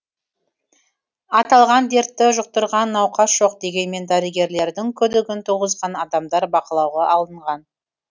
аталған дертті жұқтырған науқас жоқ дегенмен дәрігерлердің күдігін туғызған адамдар бақылауға алынған